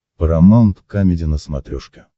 парамаунт камеди на смотрешке